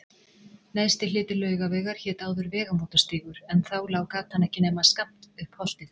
Neðsti hluti Laugavegar hét áður Vegamótastígur en þá lá gatan ekki nema skammt upp holtið.